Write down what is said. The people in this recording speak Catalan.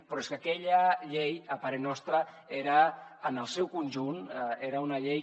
però és que aquella llei a parer nostre en el seu conjunt era una llei